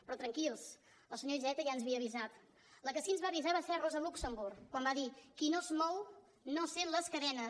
però tranquils els senyor iceta ja ens havia avisat la que sí ens va avisar va ser rosa luxemburg quan va dir qui no es mou no sent les cadenes